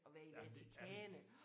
Jamen det er det